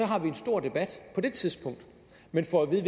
har vi en stor debat på det tidspunkt men får at vide